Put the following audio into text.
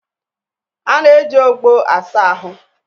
A na-eji ogbo asa ahụ